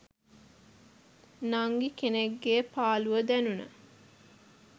නංගි කෙනෙක්ගෙ පාලුව දැනුන